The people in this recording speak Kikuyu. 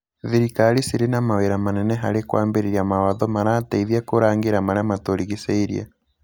Thirikari cirĩ na mawĩra manene harĩ kũambĩrĩra mawatho marateithia kũrangĩra marĩa matũrigicĩirie.